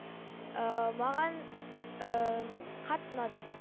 ыыы маған ыыы қатты ұнады